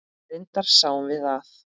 Reyndar sjáum við að